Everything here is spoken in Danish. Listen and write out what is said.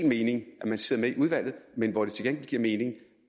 mening at nogle sidder med i udvalget men hvor det til gengæld giver mening